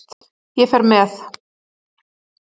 Ég fer með